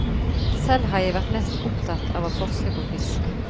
Selv har jeg vært mest opptatt av å forske på fisk.